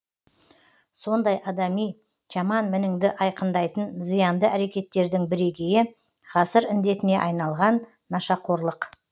сондай адами жаман мініңді айқындайтын зиянды әрекеттердің бірегейі ғасыр індетіне айналған нашақорлық